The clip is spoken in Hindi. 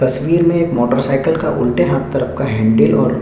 तस्वीर में एक मोटरसाइकिल का उलटे हाथ तरफ का हेंडल और--